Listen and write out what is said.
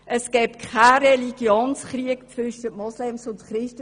Es gebe keinen Religionskrieg zwischen Moslems und Christen;